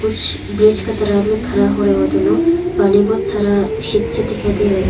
कुछ ब्रिज के तरफ में खड़ा हो रहे हो दोनों पानी बहुत सारा सीट से दिखाई दे रहे।